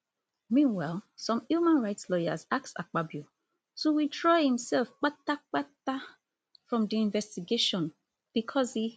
meanwhile some human rights lawyers ask akpabio to withdraw imsef kpatakpata from di investigation bicos e